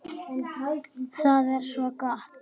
Það er svo gott!